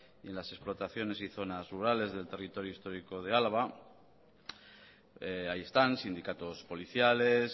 en las explotaciones y zonas rurales del territorio histórico de álava ahí están sindicatos policiales